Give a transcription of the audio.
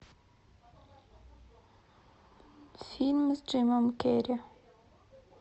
фильм с джимом керри